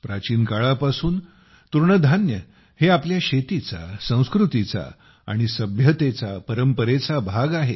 प्राचीन काळापासून तृणधान्य हे आपल्या शेतीचा संस्कृतीचा आणि परंपरेचा भाग आहे